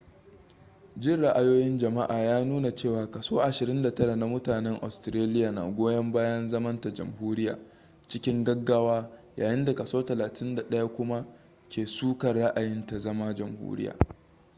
jin ra'ayoyin jama'a ya nuna cewa kaso 29 na mutanen australiya na goyon bayan zamanta jamhuriyya cikin gaggawa yayin da kaso 31 kuma ke sukar ra'ayin ta zama jamhuriya